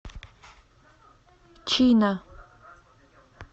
чина